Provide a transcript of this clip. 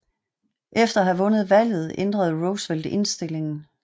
Efter at have vundet valget ændrede Roosevelt indstillingen